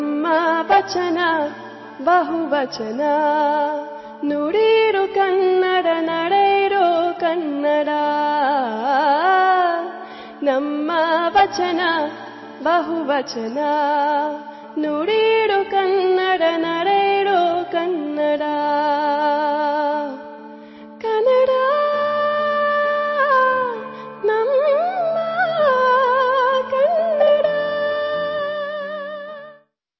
দ্বিতীয় বাণীবদ্ধ অংশ